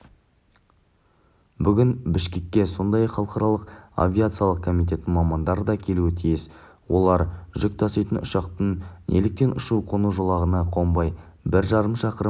бүгін бішкекке сондай-ақ халықаралық авиация комитетінің мамандары да келуі тиіс олар жүк таситын ұшақтың неліктен ұшу-қону жолағына қонбай бір жарым шақырым